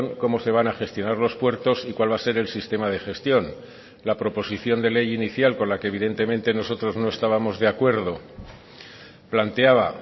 cómo se van a gestionar los puertos y cuál va a ser el sistema de gestión la proposición de ley inicial con la que evidentemente nosotros no estábamos de acuerdo planteaba